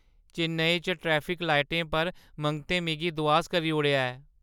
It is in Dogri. चेन्नई च ट्रैफिक लाइटें पर मंगतें मिगी दुआस करी ओड़ेआ ऐ।